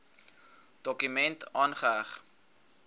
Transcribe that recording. dokument aangeheg